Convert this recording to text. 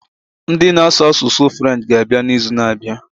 Ndị na asụ asụsụ French ga abịa na izu na abịa